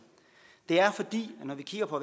det er fordi når vi kigger på